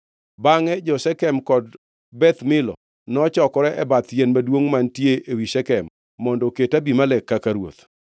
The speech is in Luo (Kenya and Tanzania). Bangʼe jo-Shekem kod Beth Milo nochokore e bath yien maduongʼ mantie ewi Shekem mondo oket Abimelek kaka ruoth.